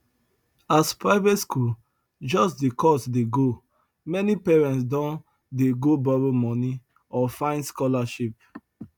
as private school just dey cost dey go many parents don dey go borrow money or find scholarship